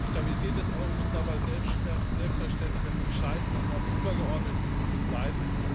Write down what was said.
Die Stabilität des Euro muss dabei selbstverständlich das entscheidende und auch übergeordnete Ziel bleiben.